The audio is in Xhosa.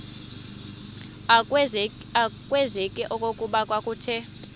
akwazeki okokuba kwakuthe